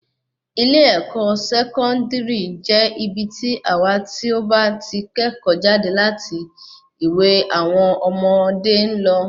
ilé-ẹ̀kọ́ Sẹkọndiri je ibi tí àwon tí o ba tí kẹ́ẹ́kọ̀ jáde láti ilẹ ìwé àwọn ọmọdé ń lọ.